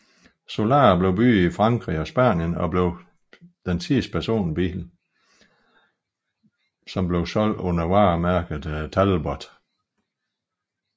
Solara blev bygget i Frankrig og Spanien og blev den sidste personbil som solgtes under varemærket Talbot